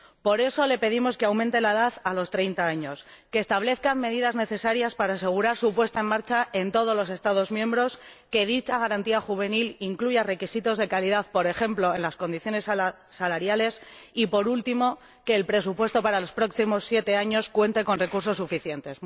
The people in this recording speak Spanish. Por eso le pedimos que aumente la edad hasta los 30 años, que establezca medidas necesarias para asegurar su puesta en marcha en todos los Estados miembros, que dicha Garantía Juvenil incluya requisitos de calidad, por ejemplo en las condiciones salariales, y, por último, que el presupuesto para los próximos siete años cuente con recursos suficientes.